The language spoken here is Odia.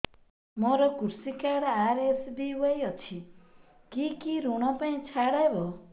ମୋର କୃଷି କାର୍ଡ ଆର୍.ଏସ୍.ବି.ୱାଇ ଅଛି କି କି ଋଗ ପାଇଁ ଛାଡ଼ ହବ